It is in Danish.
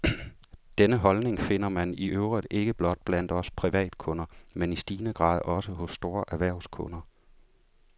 Denne holdning finder man i øvrigt ikke blot blandt os privatkunder, men i stigende grad også hos store erhvervskunder.